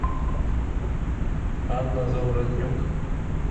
анна заворотнюк